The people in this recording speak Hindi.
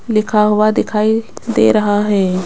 लिखा हुआ दिखाई दे रहा है।